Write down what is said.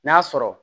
N'a sɔrɔ